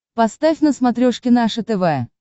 поставь на смотрешке наше тв